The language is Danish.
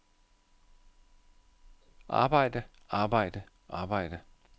arbejde arbejde arbejde